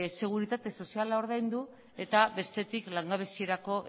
seguritate soziala ordaindu eta bestetik langabeziarako